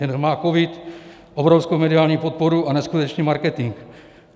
Jen má covid obrovskou mediální podporu a neskutečný marketing.